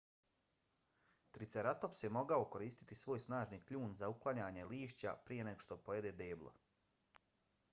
triceratops je mogao koristiti svoj snažni kljun za uklanjanje lišća prije nego što pojede deblo